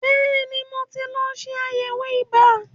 Bẹ́ẹ̀ni, mo ti lọ ṣe àyẹ̀wò ibà.